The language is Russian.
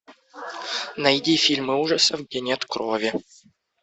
найди фильмы ужасов где нет крови